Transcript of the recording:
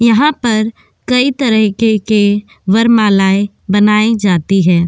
यहाँ पर कई तरहके के वरमालाएँ बनायि जाती हैं।